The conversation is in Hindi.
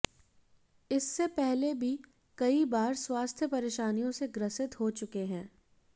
इससे पहले भी कई बार स्वास्थ्य परेशानियों से ग्रसित हो चुके हैं